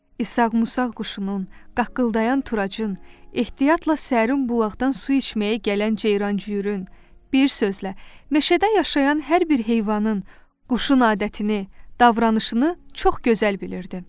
İsaq-Musaq quşunun, qaqqıldayan turacın, ehtiyatla sərin bulaqdan su içməyə gələn ceyran-cüyürün, bir sözlə, meşədə yaşayan hər bir heyvanın, quşun adətini, davranışını çox gözəl bilirdi.